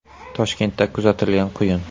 Toshkentda kuzatilgan quyun.